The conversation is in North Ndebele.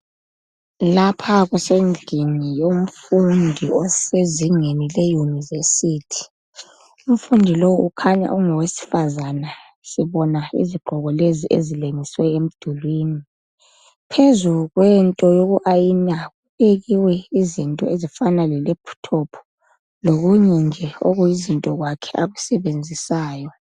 Lapha kusendlini yomfundi osezingeni leYunivesi. Umfundi lowu ukhanya engowesifazane sibona izigqoko lezi esilengiswe emdulwini. Phezu kwento yoku ayina kubekiwe izinto ezifana le"laptop" lokunye nje okuyizinto kwakhe akusebenzisayo